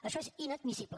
això és inadmissible